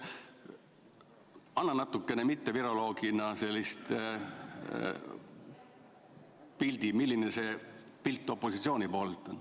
Anna natukene mitteviroloogina aimu, milline see pilt opositsiooni poolelt on.